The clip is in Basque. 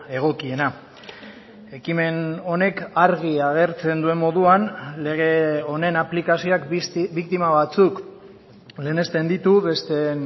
egokiena ekimen honek argi agertzen duen moduan lege honen aplikazioak biktima batzuk lehenesten ditu besteen